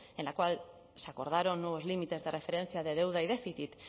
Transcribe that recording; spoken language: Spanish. en la cual se acordaron nuevos límites de referencia de deuda y déficit